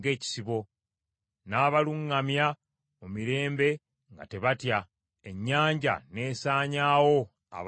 N’abaluŋŋamya mu mirembe nga tebatya, ennyanja n’esaanyaawo abalabe baabwe.